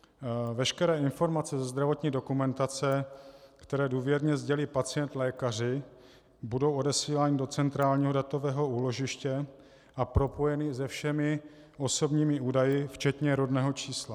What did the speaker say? Veškeré informace ze zdravotní dokumentace, které důvěrně sdělí pacient lékaři, budou odesílány do centrálního datového úložiště a propojeny se všemi osobními údaji včetně rodného čísla.